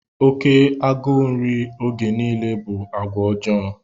Oke agụụ nri oge niile bụ àgwà ọjọọ.